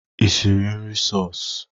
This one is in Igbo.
Ị siri nri seosu?